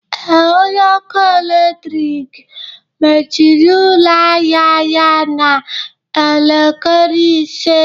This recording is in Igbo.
Ee, onye ọkụ eletrik mechiri ụlọ ahịa ya n'elekere ise